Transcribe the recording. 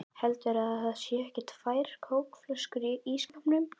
HELDURÐU AÐ ÞAÐ SÉU EKKI TVÆR KÓKFLÖSKUR Í ÍSSKÁPNUM!